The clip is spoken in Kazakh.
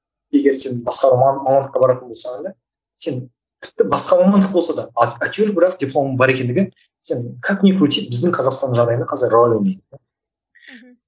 егер сен басқа маман мамандыққа баратын болсаң да сен тіпті басқа мамандық болса да а әйтеуір бірақ дипломың бар екендігі сен как не крути біздің қазақстан жағдайында қазір рөл ойнайды да мхм